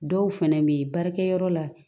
Dɔw fana bɛ yen baarakɛ yɔrɔ la